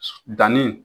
Danni